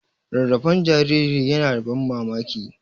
Rarrafen jariri yana da ban mamaki.